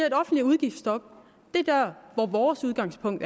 et offentligt udgiftsstop er vores udgangspunkt